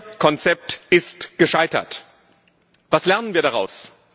Ihr Konzept ist gescheitert. Was lernen wir daraus?